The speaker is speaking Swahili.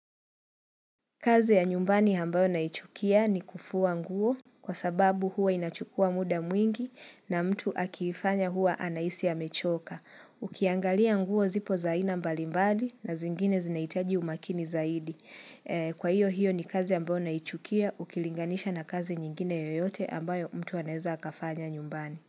Kazi ya nyumbani ambayo naichukia ni kufua nguo kwa sababu huwa inachukua muda mwingi na mtu akifanya huwa anahisi amechoka. Ukiangalia nguo zipo za aina mbali mbali na zingine zinahitaji umakini zaidi. Kwa hiyo hiyo ni kazi ambayo naichukia ukilinganisha na kazi nyingine yoyote ambayo mtu aneza akafanya nyumbani.